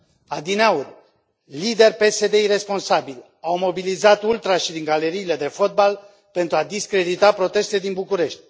Adineauri, lideri PSD iresponsabili au mobilizat ultrașii din galeriile de fotbal pentru a discredita protestele din București.